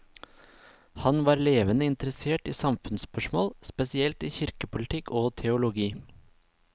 Han var levende interessert i samfunnsspørsmål, spesielt i kirkepolitikk og teologi.